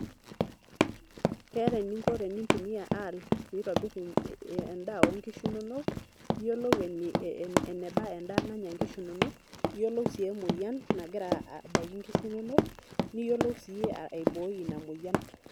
Keeta eninko tenintumia AI aitobirie enkurma onkishu inonok ,iyiolou enebaa endaa nanya nkishu inonok iyiolou si emouyian nagira aitanyamal nkishu inonok niyiolou si aiboi inamoyian